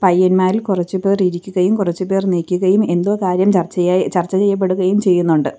പയ്യന്മാരിൽ കൊറച്ചുപേർ ഇരിക്കുകയും കൊറച്ചുപേർ നിക്കുകയും എന്തോ കാര്യം ചർച്ചയായി ചർച്ച ചെയ്യപ്പെടുകയും ചെയ്യുന്നൊണ്ട്.